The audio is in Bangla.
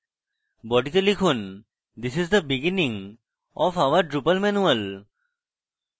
body তে লিখুন: this is the beginning of our drupal manual